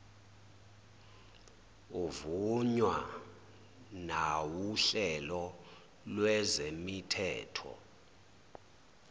uvunywa nawuhlelo lwezemithetho